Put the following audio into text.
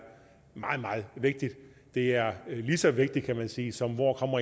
meget meget vigtigt det er lige så vigtigt kan man sige som hvor